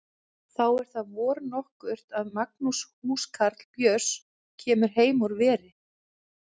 Þá er það vor nokkurt að Magnús húskarl Björns kemur heim úr veri.